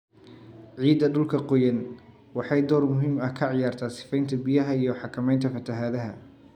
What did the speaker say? Ciidda dhulka qoyan waxay door muhiim ah ka ciyaartaa sifaynta biyaha iyo xakamaynta fatahaadaha.